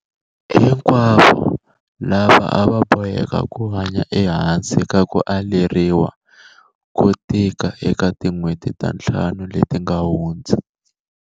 hinkwavo lava a va boheka ku hanya ehansi ka ku aleriwa ko tika eka tin'hweti ta ntlhanu leti nga hundza.